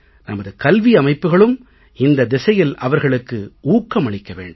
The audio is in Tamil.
நமது கல்வி அமைப்புக்களும் இந்த திசையில் அவர்களுக்கு ஊக்கமளிக்க வேண்டும்